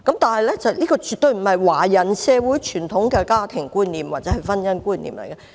但是，這絕對不是華人社會的傳統家庭觀念或婚姻觀念。